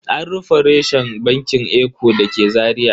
An rufe reshen bankin eco da ke Zaria.